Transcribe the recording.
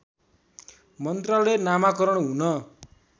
मन्त्रालय नामाकरण हुन